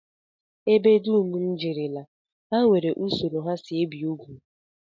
Ebe dum m jerela, ha nwere usoro ha si ebi ugwu